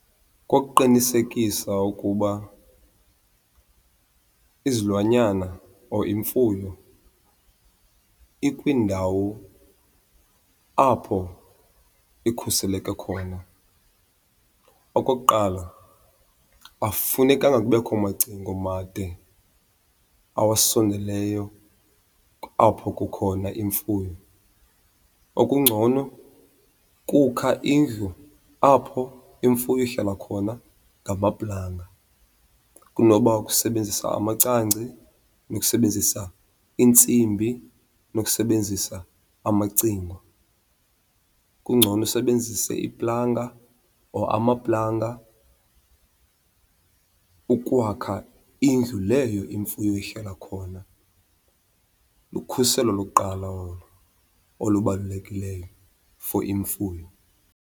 Kukuqinisekisa ukuba izilwanyana or imfuyo ikwindawo apho ikhuseleke khona. Okokuqala, akufunekanga kubekho macingo made awasondeleyo apho kukhona imfuyo. Okungcono kukha indlu apho imfuyo ihlala khona ngamaplanga kunoba ukusebenzisa amacangci, kunokusebenzisa iintsimbi, kunokusebenzisa amacingo. Kungcono usebenzise iplanga or amaplanga ukwakha indlu leyo imfuyo ihlala khona. Lukhuselo lokuqala olo olubalulekileyo for imfuyo.